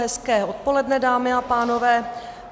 Hezké odpoledne, dámy a pánové.